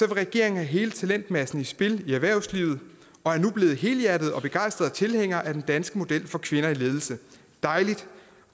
regeringen have hele talentmassen i spil i erhvervslivet og er nu blevet helhjertet og begejstret tilhænger af den danske model for kvinder i ledelse dejligt